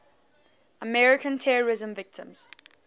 american terrorism victims